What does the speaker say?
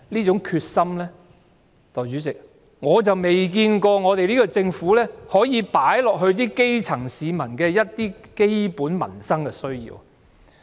可是，代理主席，我卻未看到她有把這種決心放在解決基層市民的基本民生需要上。